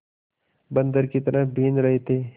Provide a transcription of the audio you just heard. बंदर की तरह बीन रहे थे